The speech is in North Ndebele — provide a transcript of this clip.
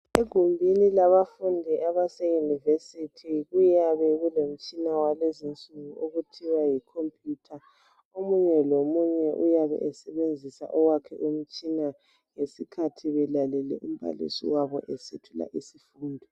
Egumbini labafundi abase yunivesithi kuyabe kulomtshina wakulezinsuku okuthiwa yi khompuyutha omunye lomunye uyabe esebenzisa owakhe umtshina ngesikhathi belalele umbalisi wabo esethula isifundo.